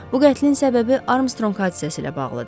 Bu qətlin səbəbi Armstrong hadisəsi ilə bağlıdır.